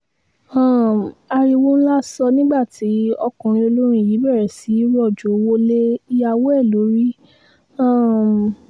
um ariwo ńlá sọ nígbà tí ọkùnrin olórin yìí bẹ̀rẹ̀ sí í rọ̀jò owó lé ìyàwó ẹ̀ lórí um